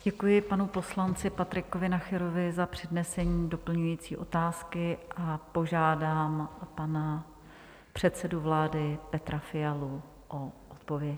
Děkuji panu poslanci Patrikovi Nacherovi za přednesení doplňující otázky a požádám pana předsedu vlády Petra Fialu o odpověď.